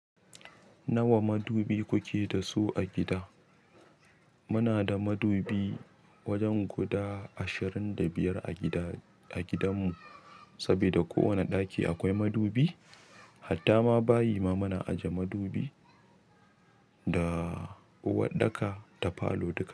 Nawa madubi kuke da su a gida? Muna da madubi wajen guda ashirin da biyar a gida-a gidanmu saboda ko wane ɗaki akwai madubi. Hatta ma bayi ma muna ajiye madubi da uwaɗɗaka da palo duka.